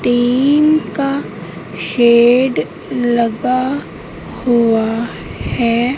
Team का shed लगा हुवा हैं।